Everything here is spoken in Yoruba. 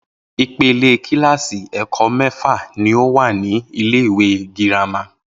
Ipele kíláàsì è̩kó̩ mé̩fà ní o wà ní ilé ìwé girama